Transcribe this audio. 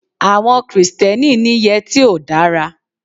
Àwọn Kristẹni ni yẹtí ò dára.